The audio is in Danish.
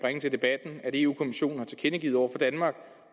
i debatten at eu kommissionen har tilkendegivet over for danmark